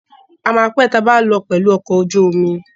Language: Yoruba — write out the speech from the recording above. A máa pé tabá lọ pẹ̀lù ọkọ̀ ojú omi.